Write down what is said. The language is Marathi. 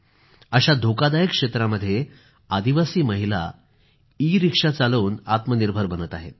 अशा धोकादायक क्षेत्रामध्ये आदिवासी महिला ईरिक्षा चालवून आत्मनिर्भर बनत आहेत